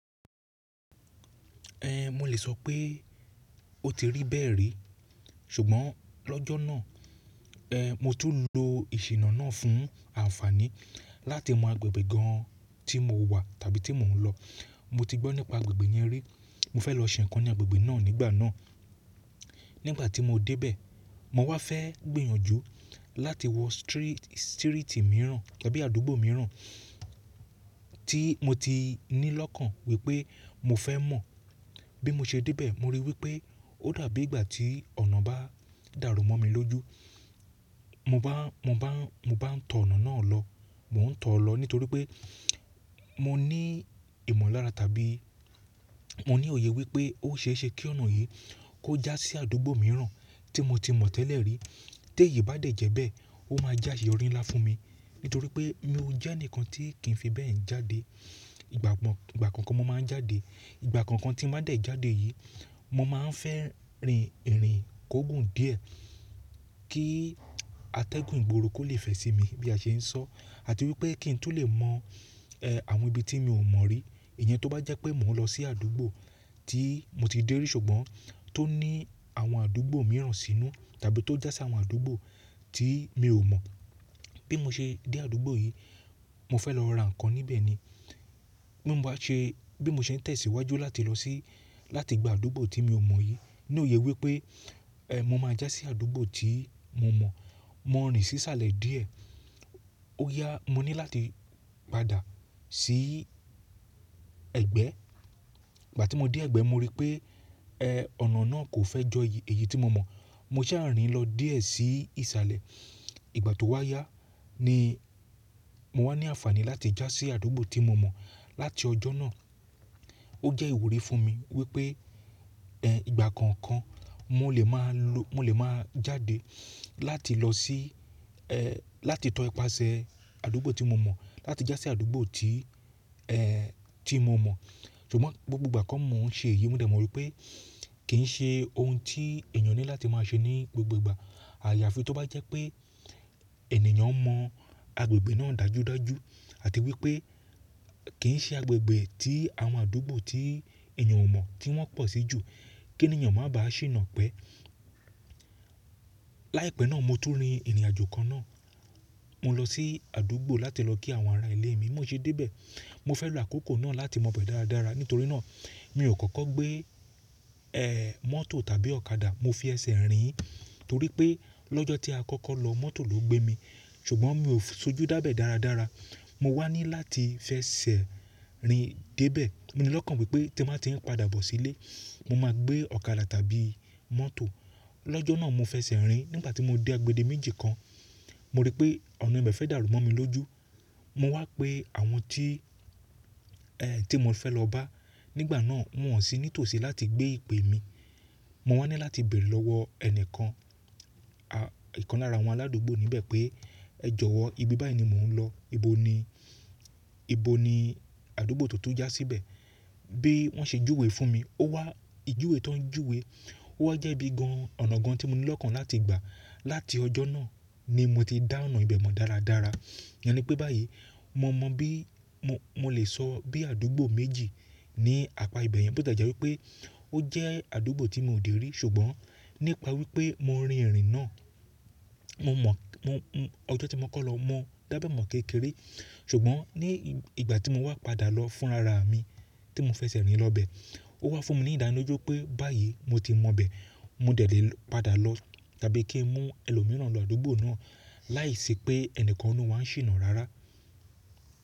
Ẹn, mo lè sọ pé ó ti rí bẹ́ẹ̀ rí, ṣùgbọ́n lọ́jọ́ náà, ẹ́n, mo tún lo ìṣìnà náà fún àǹfààní láti mọ agbègbè gan tí mo wà tàbí tí mò ń lọ. Mo ti gbọ́ nípa agbègbè yẹn rí, mo fẹ́ lọ ṣe nǹkan ní agbègbè náà nígbà náà. Nígbà tí mo dé bẹ̀, mo wá fẹ́ gbìyànjú láti wọ stiri-sírìtì mìíràn tàbí àdúgbò mìíràn tí mo ti ní lọ́kàn wípé mo fẹ́ mọ̀ bí mo ṣe dé bẹ̀. Mo rí wípé ó dàbí ìgbà tí ọ̀nà bá dàrú mọ́ mi lójú, mo bá n tó ọ̀nà náà lọ, mò ń tọ̀ ọ́ lọ nítorí pé mo ní ìmọ̀lára tàbí mo ní òye wípé ó ṣe é ṣe kí ọ̀nà yìí kó já sí àdúgbò mìíràn tí mo ti mọ̀ tẹ́lẹ̀ rí. Téyìí bá dẹ̀ jẹ́ bẹ́ẹ̀, ó máa jẹ́ áseyọrí ńlá fún mi nítorí pé mo ò jẹ́ ẹnìkan tí kì í fi bẹ́ẹ̀ jáde. Ìgbà kọ̀ọkan mo máa ń jáde, ìgbà kọ̀ọkan tí mo bá dẹ̀ jáde yìí, mo máa ń fẹ́ rin ìrìn kó. Gùn díẹ̀ kí atẹ́gùn ìgboro kó le fẹ sí mi bí a ṣe ń sọ àti wípé kí n tún lè mọ̀, ẹ́, àwọn ibi tí mi ò mọ̀ rí. Ìyẹn tó bá jẹ́ pé mò ń lọ sí àdúgbò tí mo ti dé rí ṣùgbọ́n tó ní àwọn àdúgbò mìíràn sínú tàbí tó já sí àwọn àdúgbò tí mi ò mọ̀. Bí mo ṣe dé àdúgbò yìí, mo fẹ́ lọ ra nǹkan níbẹ̀ ni. Bí mo bá ṣe, bí mo ṣe ń tẹ̀síwájú láti lọ sí, láti gba àdúgbò tí mi ò mọ̀ yìí, ní òye wípé, ẹ́, mo máa já sí àdúgbò tí mo mọ̀. Mo rin sísàlẹ̀ díẹ̀, ó yá, mo ní láti padà sí ẹ̀gbẹ́. Ìgbà tí mo dé ẹ̀gbẹ́ mo rí pé, ẹ́, ọ̀nà náà kò fẹ́ jọ èyí tí mo mọ̀. Mo sá à rin lọ díẹ̀ sí ìsàlẹ̀. Ìgbà tó wá yá ni mo wá ní àǹfààní láti já sí àdúgbò tí mo mọ̀. Láti ọjọ́ náà, ó jẹ́ ìwúrí fún mi wípé, ẹ́, ìgbà kan kan mo lè máa lọ-- mo lè máa jáde láti lọ sí, ẹ́, láti tọ ipasẹ̀ àdúgbò tí mo mọ̀, láti já sí àdúgbò tí, ẹ́, tí mo mọ̀. Ṣùgbọ́n gbogbo ìgbà kọ́ mo ń ṣe èyí, mo dẹ̀ mọ wípé kì í ṣe ohun tí ènìyàn ní láti máa ṣe ní gbogbo ìgbà. Àyàfi tó bá jẹ́ pé ènìyàn mọ̀ agbègbè náà dájúdájú àti wípé kì í ṣe agbègbè tí àwọn àdúgbò tí ènìyàn ò mọ̀ tí wọn pọ̀ sí jù, kí ènìyàn máa ba ṣìnà pẹ́. Láìpẹ́ náà mo tún rin ìrìnàjò kan náà. Mo lọ sí àdúgbò láti lọ kí àwọn ará ìlé mi bí mo ṣe dé bẹ̀. Mo fẹ́ lọ àkókò náà láti mọ̀ bẹ̀ dáradára. Nítorí náà mi ò kọ́kọ́ gbé, ẹ́, mọ́tò tàbí ọ̀kadà. Mo fi ẹsẹ̀ rìn torí pé lọ́jọ́ tí a kọ́kọ́ lọ mọ́tò ló gbé mi, ṣùgbọ́n mi ò sojú dá bẹ̀ dáradára. Mo wá ní láti fẹ sẹ́ rin dé bẹ̀. Mo ní lọ́kàn wípé tí mo bá ti ń padà bọ̀ sílé, mo máa gbé ọ̀kadà tàbí mọ́tò. Lọ́jọ́ náà mo fẹsẹ́ rin-ín nígbà tí mo dé agbede méjì kan, mo rí pé ọ̀nà ibẹ̀ fẹ́ dàrú mọ́ mi lójú. Mo wá pé àwọn tí, ẹ́, tí mo fẹ́ lọ bá nígbà náà wọn ò sí nítòsí láti gbé ìpè mi. Mo wá ní láti béèrè lọ́wọ́ ẹni kan, à, ìkan lára àwọn aládùúgbò níbẹ̀ pé ẹ jọ̀wọ́ ibi báyìí ni mò ń lọ, ibo ni, ibo ni àdúgbò tó tún já síbẹ̀? Bí wọ́n ṣe júwe fún mi, ó wá ìjúwe tó ń júwe, ó wá jẹ́ ibi gan-an, ọ̀nà gan tí mo ní lọ́kàn láti gbà. Láti ọjọ́ náà ni mo ti dá ọ̀nà ibẹ̀ mọ̀ dáradára. Ìyẹn ni pé báyìí mo mọ bí, mo lè sọ bí àdúgbò méjì ní apa ibẹ̀ yẹn tí ó dẹ̀ jẹ́ wípé ó jẹ́ àdúgbò tí mi ò dé rí, ṣùgbọ́n nípa wípé mo rin ìrìn náà, mo mọ̀, mọ, mọ, ọjọ́ tí mo kọ́ lọ mọ dá bẹ̀ mọ̀ kékeré. Ṣùgbọ́n ní ìgbà tí mo wá padà lọ fún ara mi tí mo f'ẹsẹ́ rin lọ bẹ̀, ó wá fún mi ní ìdánilójú pé báyìí mo ti mọ bẹ̀. Mo dẹ̀ lè padà lọ tàbí kí n mú ẹlòmíràn lọ àdúgbò náà láìsí pé ẹnìkan nínú wá ń ṣìnà rárá.